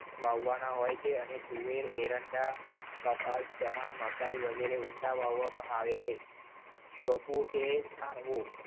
વાવવાના હોય છે અને તુવેર એરંડા કપાસ ચણા મકાઈ વગેરે ઉંડા વાવવામાં આવે છે. ચોંપવું કે થાણવું.